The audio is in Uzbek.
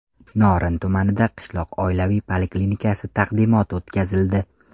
Norin tumanida qishloq oilaviy poliklinikasi taqdimoti o‘tkazildi.